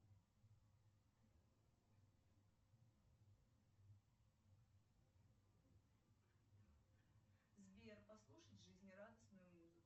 сбер послушать жизнерадостную музыку